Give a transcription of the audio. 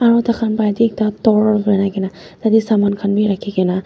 aro takhan pa banai kaena tatae saman khan bi rakhipaina.